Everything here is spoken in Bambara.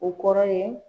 O kɔrɔ ye